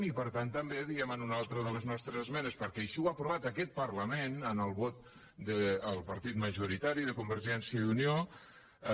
i per tant també diem en una altra de les nostres esmenes perquè així ho ha aprovat aquest parlament amb el vot del partit majoritari de convergència i unió